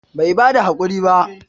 Bai bada hakuri ba?